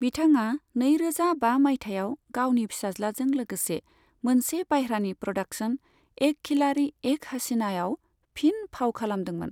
बिथाङा नैरोजा बा मायथाइयाव गावनि फिसाज्लाजों लोगोसे मोनसे बायह्रानि प्र'डाक्शन "एक खिलाड़ी एक हसीना"आव फिन फाव खालामदोंमोन।